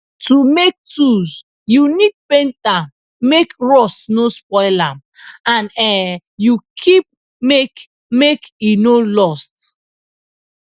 to make tools you need paint am make rust no spoil am and um you keep make make e no lost